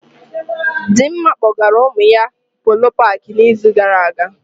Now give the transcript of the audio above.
Dịmma kpọgara ụmụ ya Polo paakị na izu gara aga